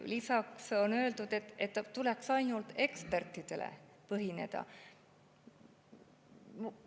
Lisaks on öeldud, et tuleks tugineda ainult ekspertide.